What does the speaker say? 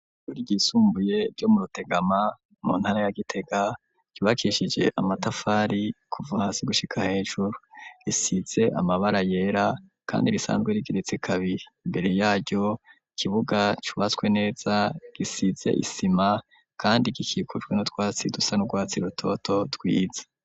Ishuri ryisumbuye ryo mu Rutegama mu ntara ya gitega ryubakishije amatafari kuva hasi gushika hejuru risize amabara yera kandi risanzwe rigeretse kabiri imbere yaho ikibuga cubatswe neza gisize isima kandi gikikujwe n'utwatsi dusa n'urwatsi rutoto twiza.